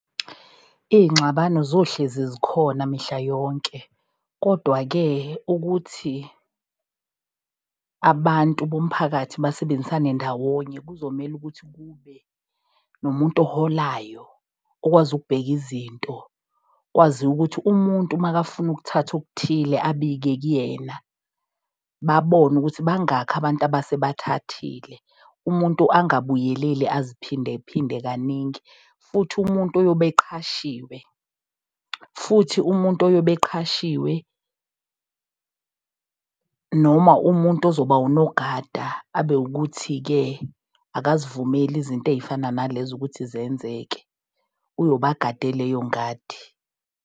Iy'ngxabano zohlezi zikhona mihla yonke, kodwa-ke ukuthi abantu bomphakathi basebenzisane ndawonye, kuzomele ukuthi kube nomuntu oholayo. Okwazi ukubheka izinto, kwaziwa ukuthi umuntu makafuna ukuthatha okuthile abike kuyena. Babone ukuthi bangakhi abantu abasebathathile. Umuntu angabuyeleli aziphinde phinde kaningi futhi umuntu oyobe eqhashiwe futhi umuntu oyobe eqhashiwe. Noma umuntu ozoba unogada abe ukuthi-ke akazivumeli izinto ey'fana nalezo ukuthi zenzeke, uyobagade leyo ngadi.